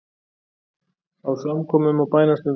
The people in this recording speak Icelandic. Á samkomum og bænastundum.